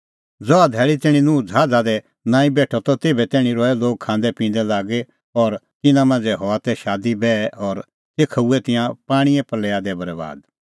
ज़हा धैल़ी तैणीं नूह ज़हाज़ा दी नांईं बेठअ तेभै तैणीं रहै लोग खांदैपिंदै लागी और तिन्नां मांझ़ै हआ तै शादीबैह और तेखअ हूऐ तिंयां पाणींए प्रल़या दी बरैबाद